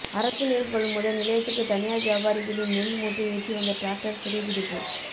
அரசு நெல் கொள்முதல் நிலையத்துக்கு தனியாா் வியாபாரிகளின் நெல் மூட்டைஏற்றி வந்த டிராக்டா் சிறைபிடிப்பு